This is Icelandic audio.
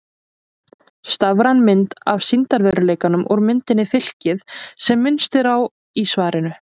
Stafræn mynd af sýndarveruleikanum úr myndinni Fylkið sem minnst er á í svarinu.